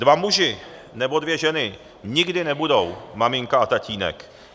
Dva muži nebo dvě ženy nikdy nebudou maminka a tatínek.